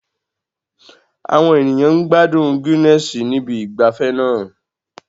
Àwọn ènìyàn ń gbádùn Guinness ní ibi ìgbafẹ́ náà